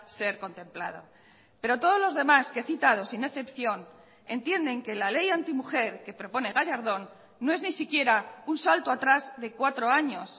ser contemplado pero todos los demás que he citado sin excepción entienden que la ley antimujer que propone gallardón no es ni siquiera un salto atrás de cuatro años